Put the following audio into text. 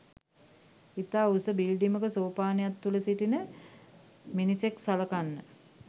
ඉතා උස බිල්ඩිමක සෝපානයක් තුල සිටින මිනිසෙක් සළකන්න